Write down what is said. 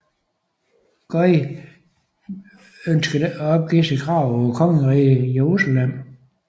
Guy ønskede ikke at opgive sit krav på Kongeriget Jerusalem